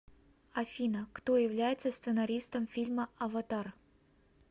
афина кто является сценаристом фильма аватар